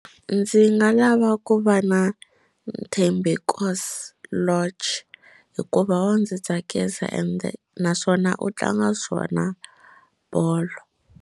Ndzi nga lava ku va na Thembinkosi Lorch hikuva wa ndzi tsakisa ende naswona u tlanga swona bolo.